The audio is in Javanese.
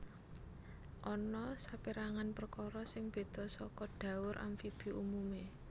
Ana sapérangan perkara sing béda saka dhaur amfibi umumé